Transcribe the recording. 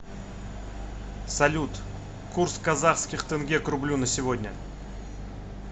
салют курс казахских тенге к рублю на сегодня